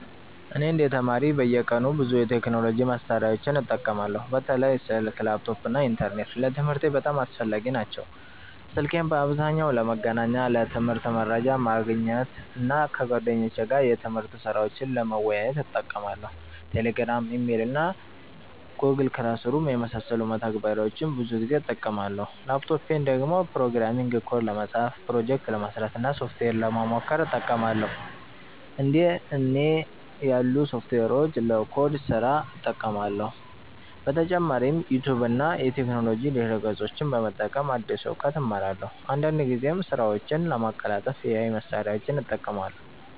እኔ እንደ ተማሪ በየቀኑ ብዙ የቴክኖሎጂ መሳሪያዎችን እጠቀማለሁ። በተለይ ስልክ፣ ላፕቶፕ እና ኢንተርኔት ለትምህርቴ በጣም አስፈላጊ ናቸው። ስልኬን በአብዛኛው ለመገናኛ፣ ለትምህርት መረጃ ማግኘት እና ከጓደኞቼ ጋር የትምህርት ስራዎችን ለመወያየት እጠቀማለሁ። Telegram፣ Email እና Google Classroom የመሳሰሉ መተግበሪያዎችን ብዙ ጊዜ እጠቀማለሁ። ላፕቶፔን ደግሞ ፕሮግራሚንግ ኮድ ለመጻፍ፣ ፕሮጀክት ለመስራት እና ሶፍትዌር ለመሞከር እጠቀማለሁ። እንደ እና ያሉ ሶፍትዌሮችን ለኮድ ስራ እጠቀማለሁ። በተጨማሪም ዩቲዩብ እና የቴክኖሎጂ ድረ-ገጾችን በመጠቀም አዲስ እውቀት እማራለሁ። አንዳንድ ጊዜም ስራዎቼን ለማቀላጠፍ AI መሳሪያዎችን እጠቀማለሁ።